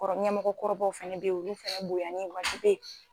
Kɔrɔ ɲɛmɔgɔkɔrɔbaw fɛnɛ be ye olu fɛnɛ bonyali ye wajibi ye